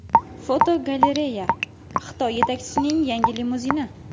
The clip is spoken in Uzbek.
Fotogalereya: Xitoy yetakchisining yangi limuzini.